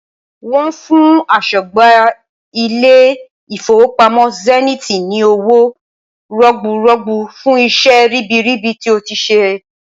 Wọ́n fún aṣọ́gbà ilé ìfowópamọ́ zenith ni owó rọ̀gbùrọ́gbú fún iṣẹ́ ribiribi tí ó ti ṣe.